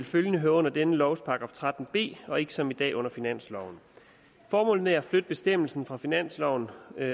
følgelig høre under denne lovs § tretten b og ikke som i dag under finansloven formålet med at flytte bestemmelsen fra finansloven